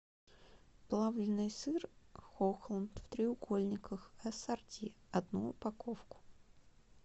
плавленный сыр хохланд в треугольниках ассорти одну упаковку